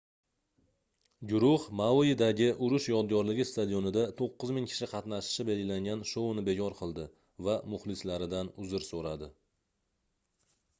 guruh mauidagi urush yodgorligi stadionida 9000 kishi qatnashishi belgilangan shouni bekor qildi va muxlislaridan uzr soʻradi